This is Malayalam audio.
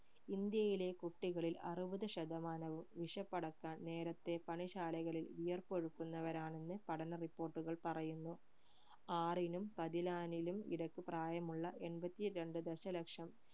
ഇന്ത്യയിലെ കുട്ടികളിൽ അറുപത് ശതമാനവും വിശപ്പടക്കാൻ നേരെത്തെ പണിശാലകളിൽ വിയർപ്പൊഴുക്കുന്നവരാണെന്ന് പഠന report കൾ പറയുന്നു ആറിനും പതിനാലിനും ഇടക്ക് പ്രായമുള്ള എൺപത്തി രണ്ട് ദശലക്ഷം